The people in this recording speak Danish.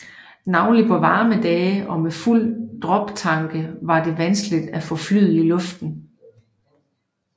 Navnlig på varme dage og med fulde droptanke var det vanskeligt at få flyet i luften